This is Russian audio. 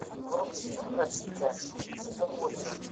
вруби фильм во все тяжкие сезон восемь